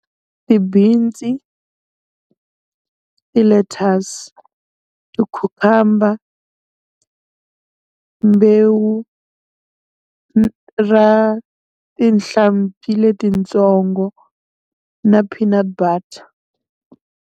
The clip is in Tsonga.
Ti-beans, ti-lettuce, ti-cucumber, mbewu ra tihlampfi letitsongo na phina butter.